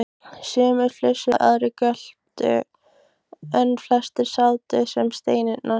Sumir flissuðu, aðrir göptu en flestir sátu sem steinrunnir.